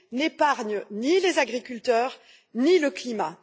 n'épargnent ni les agriculteurs ni le climat.